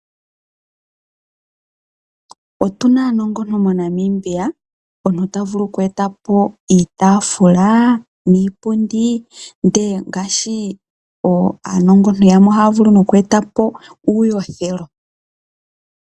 Otuna aanongontu moNamibia, omuntu ta vulu okweeta po iitaafula niipundi, ndele ngaashi aanongontu yamwe ohaya vulu nokweeta po uuyothelo.